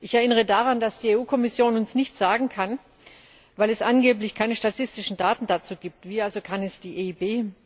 Ich erinnere daran, dass die Kommission uns nichts sagen kann, weil es angeblich keine statistischen Daten dazu gibt, wie also kann es die EIB?